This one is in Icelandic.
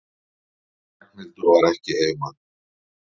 Ragnhildur var ekki heima.